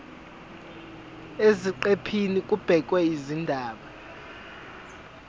eziqephini kubhekwe izindaba